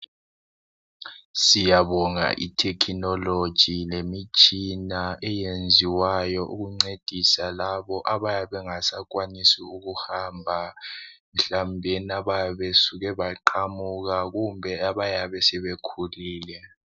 Siyabonga ithekhinoloji lemitshina eyenziwayo ukuncedisa labo abayabe bengasakwanisi ukuhamba mhlawumbe bayabe besuke baqamuka kumbe sebekhulile.